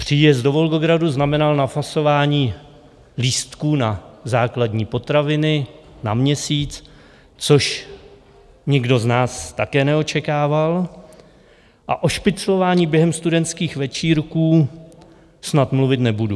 Příjezd do Volgogradu znamenal nafasování lístků na základní potraviny na měsíc, což nikdo z nás také neočekával, a o špiclování během studentských večírků snad mluvit nebudu.